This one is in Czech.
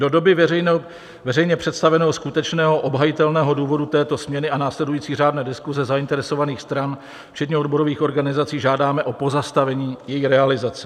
Do doby veřejně představeného skutečného obhajitelného důvodu této směny a následující řádné diskuse zainteresovaných stran, včetně odborových organizací, žádáme o pozastavení její realizace.